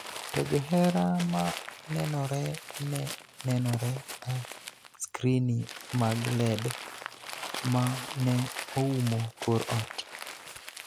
to "johera ma nenore" ne nenore e skrini mag LED ma ne oumo kor ot